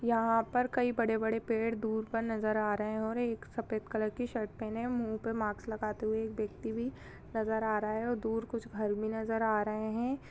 यहाँ पर कई बड़े बड़े पेड़ दूर पर नज़र आ रहे हैं और एक सफेद कलर की शर्ट पहने मुँह पर मास्क लगाते हुए एक व्यक्ति भी नज़र आ रहा है और दूर कुछ घर भी नज़र आ रहे हैं।